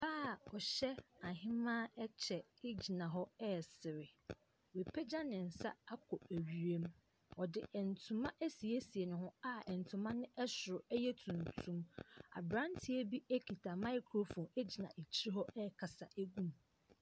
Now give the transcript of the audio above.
Ɔbaa ɔhyɛ ahemaa ɛkyɛ egyina hɔ ɛresre. Wɔapegya ne nsa akɔ wiem. Ɔde ntoma ɛsiesie ne ho a ntoma no ɛsoro ɛyɛ tuntum. Abranteɛ bi ekuta microphone gyina ɛkyi hɔ ɛrekasa egu mu.